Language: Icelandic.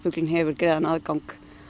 hefur greiðan aðgang